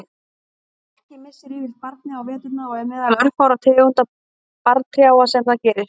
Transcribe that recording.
Lerki missir yfirleitt barrið á veturna og er meðal örfárra tegunda barrtrjáa sem það gerir.